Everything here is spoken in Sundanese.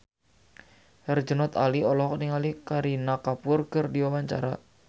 Herjunot Ali olohok ningali Kareena Kapoor keur diwawancara